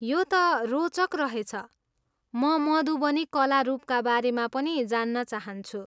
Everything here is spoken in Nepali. यो त रोचक रहेछ, म मधुबनी कला रूपका बारेमा पनि जान्न चाहन्छु।